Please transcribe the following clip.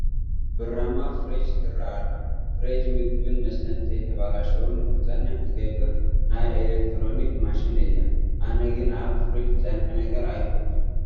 ብራማ ፍሬጅ ትርአ ኣላ፡፡ ፍሬጅ ምግብን መስተን እንተይተበላሸው ንክፀንሕ ትገብር ናይ ኤለክትሮኒክ ማሽን እያ፡፡ ኣነ ግን ኣብ ፍርጅ ዝፀንሐ ነገር ኣይፈቱን፡፡